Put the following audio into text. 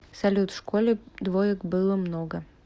салют в школе двоек было много